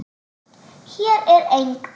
Hér er eng